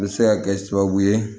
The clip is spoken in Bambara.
U bɛ se ka kɛ sababu ye